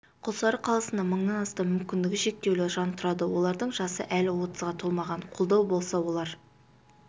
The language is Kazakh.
құлсары қаласында мыңнан астам мүмкіндігі шектеулі жан тұрады олардың жасы әлі отызға толмаған қолдау болса олар